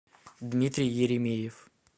дмитрий еремеев